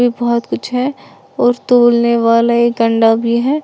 बहुत कुछ है और तोलने वाला एक अंडा भी है।